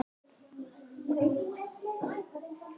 Það þótti henni vænt um.